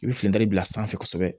I bɛ finide bila sanfɛ kosɛbɛ